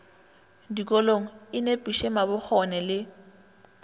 dikolong e nepiše mabokgone le